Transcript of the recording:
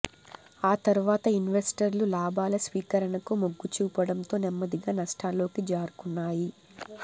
ఆ తర్వాత ఇన్వెస్టర్లు లాభాల స్వీకరణకు మొగ్గుచూపడంతో నెమ్మదిగా నష్టాల్లోకి జారుకున్నాయి